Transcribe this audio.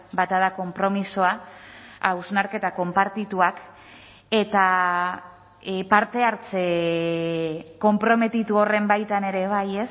bata da konpromisoa hausnarketa konpartituak eta parte hartze konprometitu horren baitan ere bai